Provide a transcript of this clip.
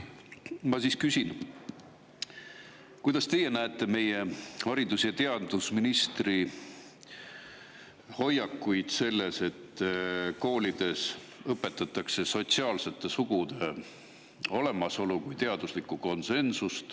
Ma siis küsin, kuidas teie meie haridus- ja teadusministri hoiakusse selles suhtes, et koolides õpetatakse sotsiaalsete sugude olemasolu kui teaduslikku konsensust.